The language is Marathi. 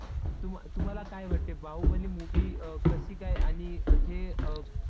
तुम्हाला काय वाटते बाहुबली movie अं कशी काय आणि थे